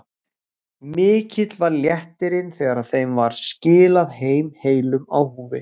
Mikill var léttirinn þegar þeim var skilað heim heilum á húfi.